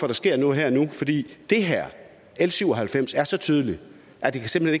der sker noget her og nu fordi det her l syv og halvfems er så tydeligt at det simpelt